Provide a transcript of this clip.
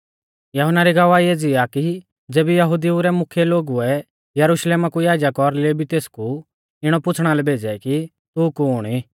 यहुन्ना री गवाही एज़ी आ कि ज़ेबी यहुदिऊ रै मुख्यै लोगुऐ यरुशलेमा कु याजक और लेवी तेसकु इणौ पुछ़णा लै भेज़ै कि तू कुण ई